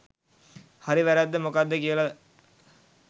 හරි වැරැද්ද මොකද්ද කියල